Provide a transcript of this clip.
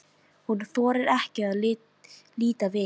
Hún þorir ekki að líta við.